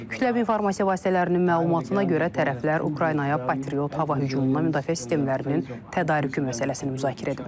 Kütləvi informasiya vasitələrinin məlumatına görə tərəflər Ukraynaya Patriot hava hücumundan müdafiə sistemlərinin tədarükü məsələsini müzakirə ediblər.